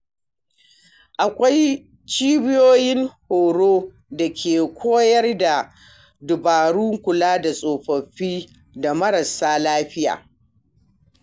Akwai cibiyoyin horo da ke koyar da dabarun kula da tsofaffi da marasa lafiya.